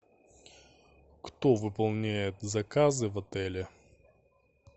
кто выполняет заказы в отеле